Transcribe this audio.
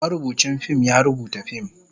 marubucin fim ya rubuta fim,